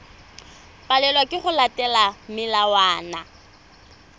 palelwa ke go latela melawana